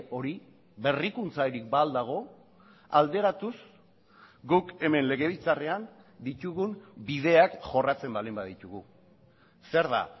hori berrikuntzarik ba al dago alderatuz guk hemen legebiltzarrean ditugun bideak jorratzen baldin baditugu zer da